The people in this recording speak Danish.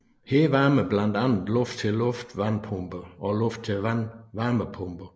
Her varmer blandt andet luft til luft varmepumper og luft til vand varmepumper